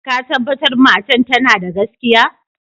Ka tabatar matan tana da gaskiya?